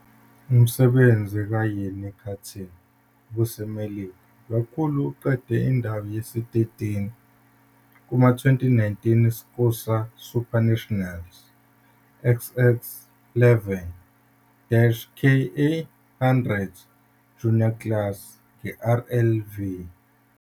Umsebenzi kaYeany Karting ubuseMelika kakhulu eqeda indawo yesi-13 kuma-2019 SKUSA SuperNationals XX11 - KA100 Junior Class ngeRLV.